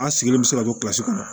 An sigilen bɛ se ka to kilasi kɔnɔ